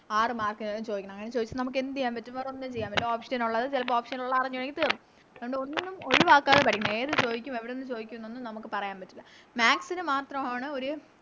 ആറ് Mark നാണ് ചോയിക്കുന്നത് അങ്ങനെ ചോയിച്ച നമുക്ക് എന്ത് ചെയ്യാൻ പറ്റും വേറൊന്നും ചെയ്യാൻ പറ്റൂല Option നൊള്ളത് ചെലപ്പോ Option ഒള്ള അറിഞ്ഞൂടെങ്കി തീർന്ന് അതുകൊണ്ട് ഒന്നും ഒഴിവാക്കാതെ പഠിക്കണം ഏത് ചോയിക്കും എവിടുന്ന് ചോയിക്കുംനൊന്നും നമുക്ക് പറയാൻ പറ്റൂല Maths ന് മാത്രാണ് ഒര്